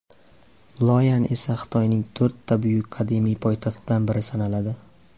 Loyan esa Xitoyning to‘rtta buyuk qadimiy poytaxtidan biri sanaladi.